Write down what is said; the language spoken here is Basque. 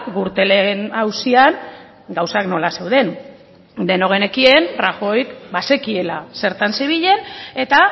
gürtelen auzian gauzak nola zeuden denok genekien rajoyk bazekiela zertan zebilen eta